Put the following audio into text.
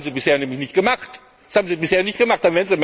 Das haben sie bisher nämlich nicht gemacht!